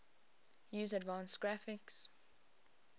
use advanced graphics